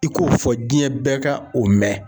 I k'o fɔ jiɲɛ bɛɛ ka o mɛn